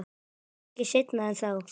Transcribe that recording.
Ekki seinna en þá.